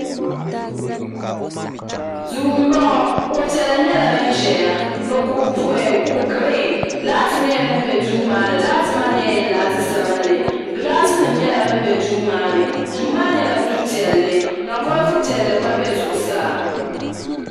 Duu m-bɔŋɔ kuɣ'piɛla nyɛla din ʒeya ni kuɣ'giriin laati nyɛla din be duu maa ni laati maa nyɛla laati sabinli gilasinima nyɛla din be duu maa ni duu maa nyɛla du'piɛlli ka bolifu piɛlli gba be zuɣusaa.